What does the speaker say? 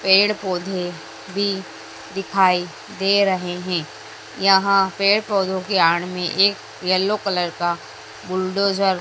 पेड़ पौधे भी दिखाई दे रहे है। यहां पेड़ पौधे के आड़ में एक येलो कलर का बुलडोजर --